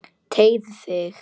Teygðu þig.